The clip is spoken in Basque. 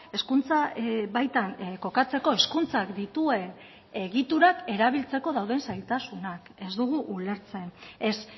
hezkuntza baitan kokatzeko hezkuntzak dituen egiturak erabiltzeko dauden zailtasunak ez dugu ulertzen ez